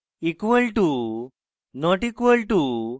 equal to not equal to